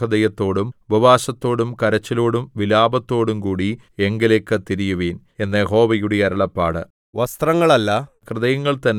എന്നാൽ ഇപ്പോഴെങ്കിലും നിങ്ങൾ പൂർണ്ണഹൃദയത്തോടും ഉപവാസത്തോടും കരച്ചിലോടും വിലാപത്തോടുംകൂടി എങ്കലേക്ക് തിരിയുവിൻ എന്ന് യഹോവയുടെ അരുളപ്പാട്